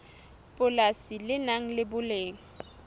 polasi le nang le boleng